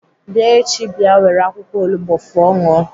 Bịa echi bịa were akwụkwọ olugbo fụọ ṅụọ!